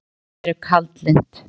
Kvöldin eru kaldlynd.